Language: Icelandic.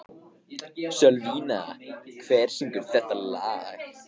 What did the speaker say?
Sölvína, hver syngur þetta lag?